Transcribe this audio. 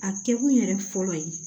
A kɛ kun yɛrɛ fɔlɔ ye